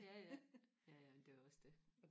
ja ja ja ja men det er jo også det